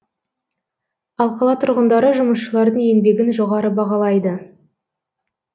ал қала тұрғындары жұмысшылардың еңбегін жоғары бағалайды